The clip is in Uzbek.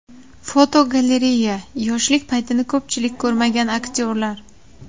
Fotogalereya: Yoshlik paytini ko‘pchilik ko‘rmagan aktyorlar.